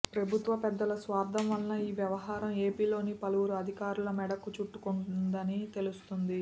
ప్రభుత్వ పెద్దల స్వార్థం వల్ల ఈ వ్యవహారం ఏపీలోని పలువురు అధికారుల మెడకు చుట్టుకోనుందని తెలుస్తోంది